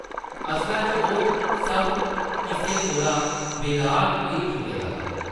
असला च ओह् सब किसै कोला बेलाग होई चुके दा हा ।